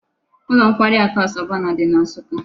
Ulo nkwari aku Asabana di na nsukka